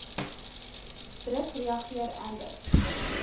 druk reageer amber